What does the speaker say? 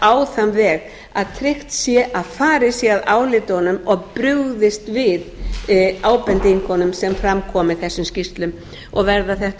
á þann veg að tryggt sé að farið að sé að álitunum og brugðist við ábendingunum sem fram koma í þessum skýrslum verða þetta